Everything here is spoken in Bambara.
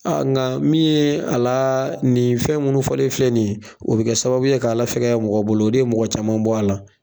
A nka min ye a la nin fɛn minnu fɔlen filɛ nin ye o bɛ kɛ sababu ye k'a la fɛgɛya mɔgɔw bolo o de ye mɔgɔ caman bɔ a la